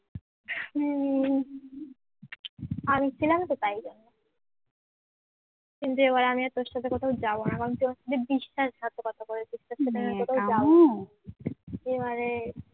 এবারে